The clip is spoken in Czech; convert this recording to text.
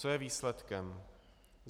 Co je výsledkem?